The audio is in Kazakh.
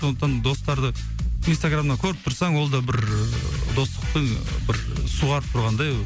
сондықтан достарды инстаграмнан көріп тұрсаң ол да бір достықтың бір суарып тұрғандай